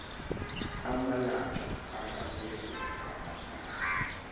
amalanga angaphezulu kamahlanu